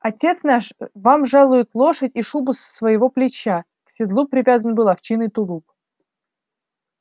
отец наш вам жалует лошадь и шубу с своего плеча к седлу привязан был овчинный тулуп